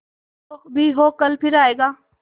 जो भी हो कल फिर आएगा